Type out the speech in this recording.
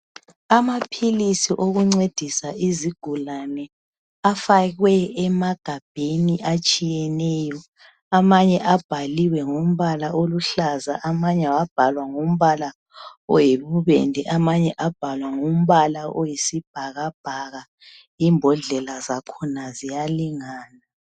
amaphilisi okuncedisa izigulane afakwe emagabheni atshiyeneyo amanye abhaliwe ngombala oluhlaza amanye abhalwa oyibubende amanye abhalwa ngombala oyisbhakabhaka imbodlela zakhona ziyalingana